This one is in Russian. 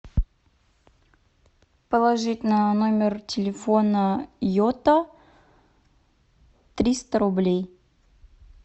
положить на номер телефона йота триста рублей